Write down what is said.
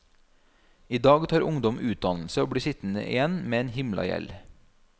I dag tar ungdom utdannelse og blir sittende igjen med en himla gjeld.